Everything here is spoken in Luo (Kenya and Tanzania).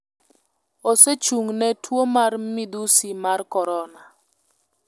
osechung'ne tuo mar midhusi mar Korona,